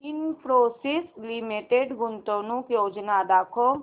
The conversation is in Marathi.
इन्फोसिस लिमिटेड गुंतवणूक योजना दाखव